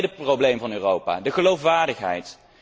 Dat is ook het tweede probleem van Europa de geloofwaardigheid.